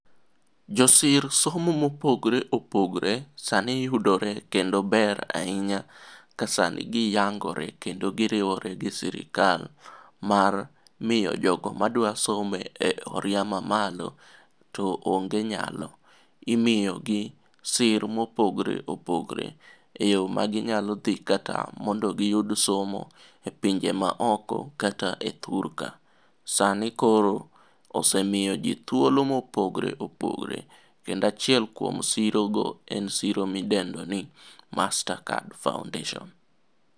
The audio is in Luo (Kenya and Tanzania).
Josir somo mopogre opogre sani yudore kendo ber ahinya ka sani giyangore kendo giriwore gi sirikal mar miyo jogo madwasomo e oriya mamalo to onge nyalo imiyogi sir mopogre opogre e yo maginyalo dhi kata mondo giyud somo e pinje maoko kata e thur ka. Sani koro osemiyo ji thuolo mopogre opogre kendo achiel kuom sirogo en siro midendoni Mastercard foundation.